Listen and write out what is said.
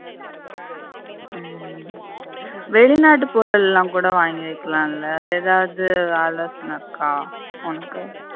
உம் வெளிநாட்டு பொருளெல்லாம் கூட வாங்கி வெக்கலாம்ல அது எதாவது இருக்கா உனக்கு